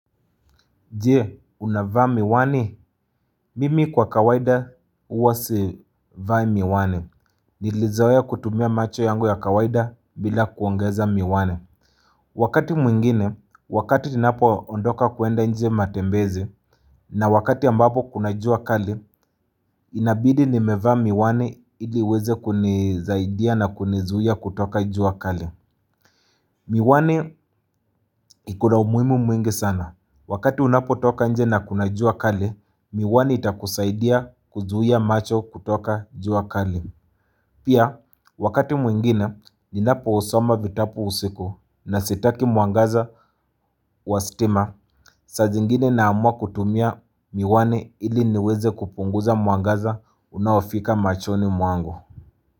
Je, unavaa miwani, mimi kwa kawaida uwa sivai miwani, nilizawea kutumia macho yangu ya kawaida bila kuongeza miwani Wakati mwingine, wakati tinapo ondoka kuenda nje matembezi, na wakati ambapo kuna jua kali, inabidi nimevaa miwani iliweze kunizaidia na kunizua kutoka jua kali Miwani iko na umuhimu mwingi sana. Wakati unapotoka nje na kuna jua kali, miwani itakuzaidia kuzuhia macho kutoka jua kali. Pia, wakati mwingine, ninapo usoma vitabu usiku na sitaki mwangaza wa stima. Saa zingine naamua kutumia miwani ili niweze kupunguza mwangaza unaofika machoni mwangu.